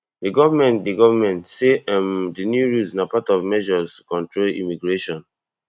di goment di goment say um di new rules na part of measures to control immigration